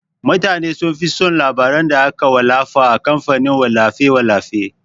Mutane sunfi son labaran da aka wallafa a kamfanin wallafe-wallafe.